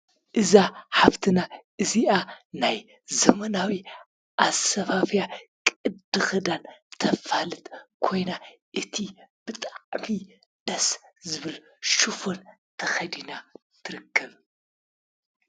እዛ ሓፍትና እዝኣ ናይ ዘመናዊ ኣሰፋፍያ ቅዲ ክዳን ተፋልጥ ኮይና እቱይ ብጣዕሚ ደስ ዝበል ሽፎን ተከዲና ትርከብ።